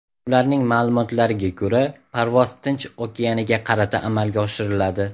Ularning ma’lumotlariga ko‘ra, parvoz Tinch okeaniga qarata amalga oshiriladi.